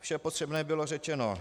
Vše potřebné bylo řečeno.